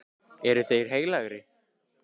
Eru þeir heilagir?